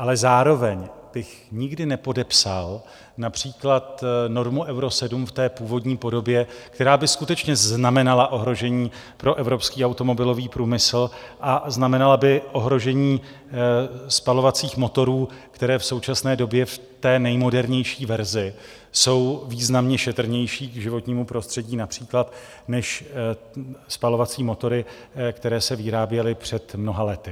Ale zároveň bych nikdy nepodepsal například normu Euro 7 v té původní podobě, která by skutečně znamenala ohrožení pro evropský automobilový průmysl a znamenala by ohrožení spalovacích motorů, které v současné době v té nejmodernější verzi jsou významně šetrnější k životnímu prostředí například než spalovací motory, které se vyráběly před mnoha lety.